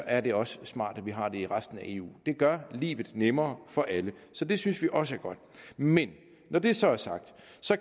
er det også smart at vi har det i resten af eu det gør livet nemmere for alle så det synes vi også er godt men når det så er sagt